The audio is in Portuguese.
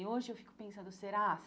E hoje eu fico pensando, será?